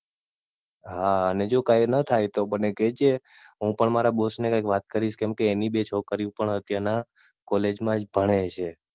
હા અને જો કાઈ ના થાય તો મને કેહજે હું પણ મારા Boss ને કઈ વાત કરીશ કેમ કે એમની બે છોકરી ઓ પણ અત્યાર માં College માજ ભણે છે.